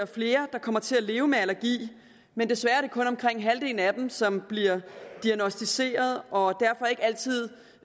flere der kommer til at leve med allergi men desværre er det kun omkring halvdelen af dem som bliver diagnosticeret og resten derfor ikke altid